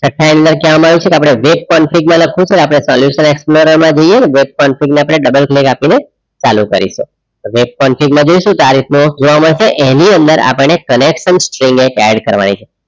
આપડે solution explorer માં જઇયે work configure માં double click ચાલુ કરીશું web configure જઈશું તો આ રીતનો જોવા મળશે એની અંદર આપણને connection કરવાની છે